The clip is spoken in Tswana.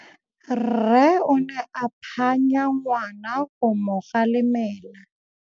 Rre o ne a phanya ngwana go mo galemela.